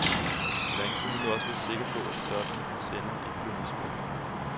Hvordan kunne man nu også være sikker på, at sådan en sender ikke blev misbrugt.